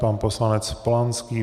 Pan poslanec Polanský.